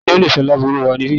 Talo le sọ lárúbáwá nibi?